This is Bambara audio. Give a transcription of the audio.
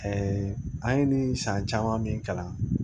an ye nin san caman min kalan